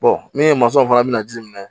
min ye fana bina ji minɛ